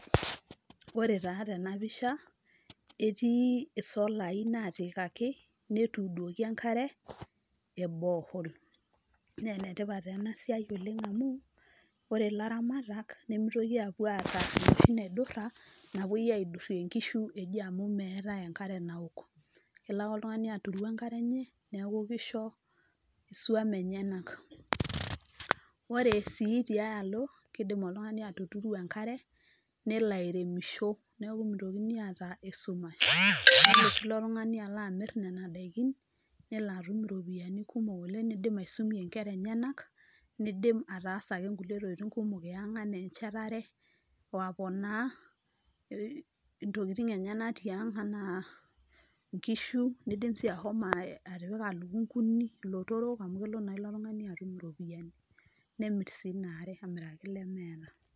ore taa tena pisha etii isolai natiikaki, netuudoki enkare ee borehole naa enetipat ena siai oleng' amuu ore, ore ilaramatak nemeitoki apuo aata enoshi naidura, napuoi aidurie inkishu eji amuu meetae enkare naok. kelo ake oltung'ani aturu enkare enye, neaku keisho isuan enyenak. ore sii tiae alo keidim oltung'ani atuturu enkare nelo airemisho neaku meitokini aata eshumash. neitoki oltung'ani alo amir nena daiki nelo atum iropiyiani kumok oleng' neidim aisumie inkera enyenak neidim ataasa ake nkulie tokiting' kumok ee ang' anaa enchetare wo aponaa intokiting' enyenak tiang' ana inkishu neidim sii atipika ilukunkuni, ilotorok amu kelo naa ilo tung'ani atum iropiyiani nemir sii ina are amiraki ilemeeta.